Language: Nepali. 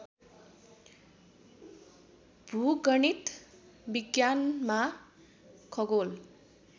भूगणित विज्ञानमा खगोल